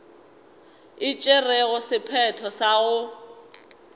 e tšerego sephetho sa go